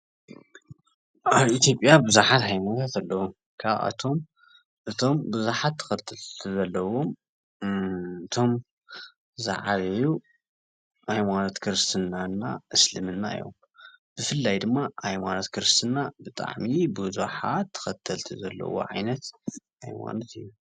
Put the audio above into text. ኣብ ኢ/ያ ብዙሓት ሃይማኖት ኣለው ካብኣቶም እቶም ብዙሓት ተከተልቲ ዘለዎም እቶም ዝዓበዩ ሃይማኖት ክርስትና እና እስልምና እዮም፡፡ ብፍላይ ድማ ሃይማኖት ክርስትና ብጣዕሚ ብዙሓት ተከተልቲ ዘለዎ ዓይነት ሃይማኖት እዩ፡፡